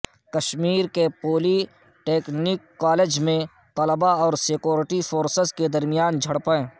کشمیر کے polytechnic college میں طلباء اور سیکورٹی فورسز کے درمیان جھڑپیں